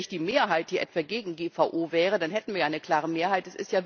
Es ist ja nicht die Mehrheit, die etwa gegen GVO wäre, dann hätten wir ja eine klare Mehrheit.